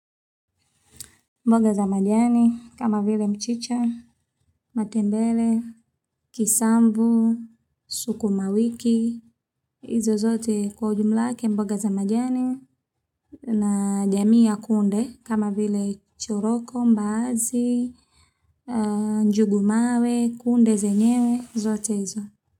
Mboga za majani kama vile mchicha, matembele, kisambu, sukuma wiki, hizo zote kwa ujumla wake mboga za majani na jamii ya kunde kama vile choroko, mbaazi, njugu mawe, kunde zenyewe, zote hizo.